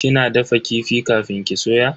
Kina dafa kifi kafin ki soya?